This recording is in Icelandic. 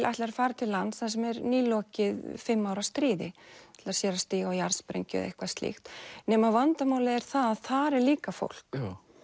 ætlar að fara til lands þar sem er nýlokið fimm ára stríði ætlar sér að stíga á jarðsprengju eða eitthvað slíkt nema vandamálið er að þar er líka fólk